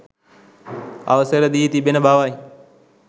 අවසර දී තිබෙන බවයි